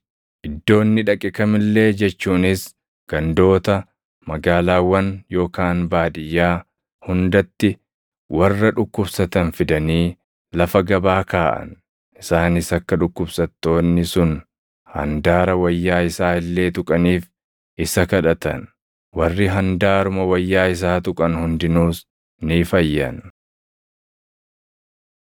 Iddoo inni dhaqe kam illee jechuunis gandoota, magaalaawwan yookaan baadiyyaa hundatti warra dhukkubsatan fidanii lafa gabaa kaaʼan. Isaanis akka dhukkubsattoonni sun handaara wayyaa isaa illee tuqaniif isa kadhatan; warri handaaruma wayyaa isaa tuqan hundinuus ni fayyan.